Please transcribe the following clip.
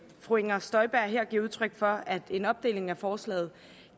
fru inger støjberg her giver udtryk for at en opdeling af forslaget